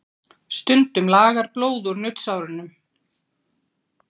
Stundum lagar blóð úr nuddsárunum.